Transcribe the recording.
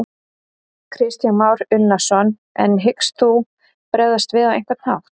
Kristján Már Unnarsson: En hyggst þú bregðast við á einhvern hátt?